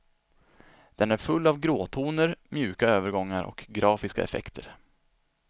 Den är full av gråtoner, mjuka övergångar och grafiska effekter.